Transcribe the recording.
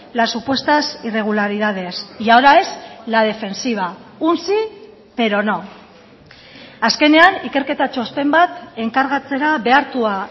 las supuestas irregularidades y ahora es la defensiva un sí pero no azkenean ikerketa txosten bat enkargatzera behartua